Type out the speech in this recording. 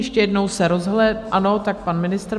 Ještě jednou se rozhlédnu - ano, tak pan ministr.